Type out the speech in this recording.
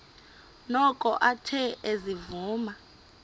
noko athe ezivuma